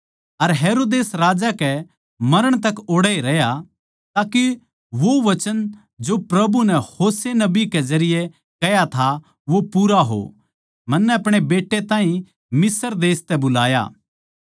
अर हेरोदेस राजा कै मरण तक ओड़ै रह्या ताके वो वचन जो प्रभु नै होशे नबी कै जरिये कह्या था वो पूरा हो मन्नै अपणे बेटै ताहीं मिस्र देश तै बुलाया